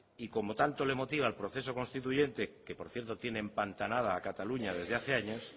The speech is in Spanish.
y como tanto le motiva el proceso constituyente que por cierto tiene empantanada a cataluña desde hace años